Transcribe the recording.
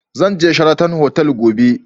Zan je Sheraton otal gobe